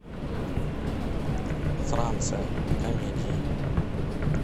франция комедии